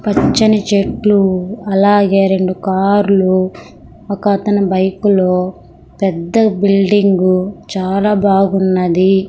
పచ్చని చెట్లు అలాగే రెండు కార్లు ఒక అతని బైకు లో పెద్ద బిల్డింగ్ చాలా బాగున్నది.